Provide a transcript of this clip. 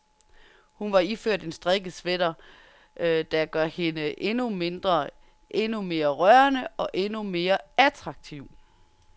Hun var iført en strikket sweater, der gør hende endnu mindre, endnu mere rørende, og endnu mere attraktiv.